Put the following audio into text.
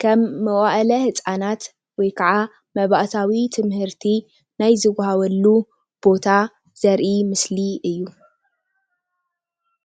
ከም መዋእለ ህፃናት ወይ ከዓ መባእታዊ ትምህርቲ ናይ ዝወሃበሉ ቦታ ዘርኢ ምስሊ እዩ፡፡